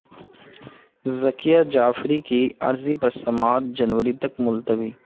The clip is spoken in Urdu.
ذکیہ جعفری کی عرضی پر سماعت جنوری تک ملتوی